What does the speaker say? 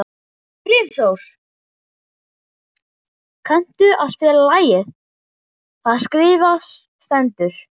Brimþór, kanntu að spila lagið „Það skrifað stendur“?